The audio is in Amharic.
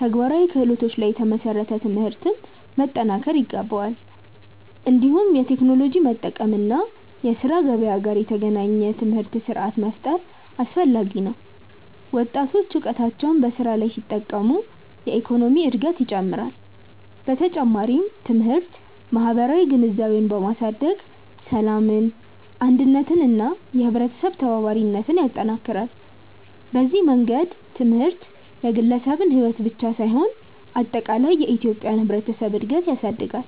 ተግባራዊ ክህሎቶች ላይ የተመሰረተ ትምህርት መጠናከር ይገባል። እንዲሁም የቴክኖሎጂ መጠቀም እና የስራ ገበያ ጋር የተገናኘ ትምህርት ስርዓት መፍጠር አስፈላጊ ነው። ወጣቶች እውቀታቸውን በስራ ላይ ሲጠቀሙ የኢኮኖሚ እድገት ይጨምራል። በተጨማሪም ትምህርት ማህበራዊ ግንዛቤን በማሳደግ ሰላምን፣ አንድነትን እና የህብረተሰብ ተባባሪነትን ይጠናክራል። በዚህ መንገድ ትምህርት የግለሰብን ሕይወት ብቻ ሳይሆን አጠቃላይ የኢትዮጵያን ህብረተሰብ እድገት ያሳድጋል።